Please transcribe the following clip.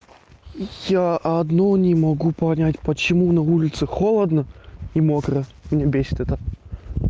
я одно не могу понять почему на улице холодно и мокро меня бесит это